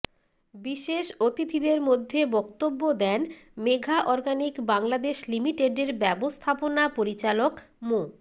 বিশেষ অতিথিদের মধ্যে বক্তব্য দেন মেঘা অর্গানিক বাংলাদেশ লিমিটেডের ব্যবস্থাপনা পরিচালক মো